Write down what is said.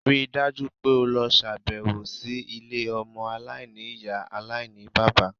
Ríi dájú pé o ṣàbẹ̀wò sí ilé ọmọ aláìní-Ìyá aláìní-bàbá.!